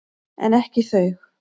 En ekki þau.